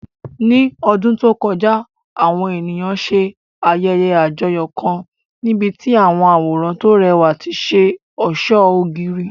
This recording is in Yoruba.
Ní ọdún tó kọjá, àwọn ènìyàn ṣe ayẹyẹ àjọyọ̀ kan níbi tí àwọn àwòrán tó rẹwà ti ṣe ọ̀ṣọ́ ògiri.